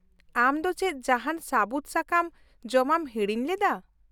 -ᱟᱢ ᱫᱚ ᱪᱮᱫ ᱡᱟᱦᱟᱱ ᱥᱟᱹᱵᱩᱫ ᱥᱟᱠᱟᱢ ᱡᱚᱢᱟᱢ ᱦᱤᱲᱤᱧ ᱞᱮᱫᱟ ?